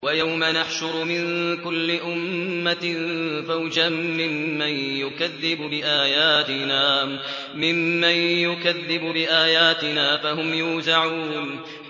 وَيَوْمَ نَحْشُرُ مِن كُلِّ أُمَّةٍ فَوْجًا مِّمَّن يُكَذِّبُ بِآيَاتِنَا فَهُمْ يُوزَعُونَ